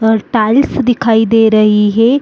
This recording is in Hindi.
टा टाइल्स दिखाई दे रहें हैं।